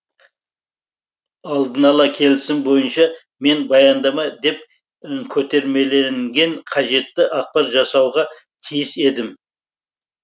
алдынала келісім бойынша мен баяндама деп көтермеленген қажетті ақпар жасауға тиіс едім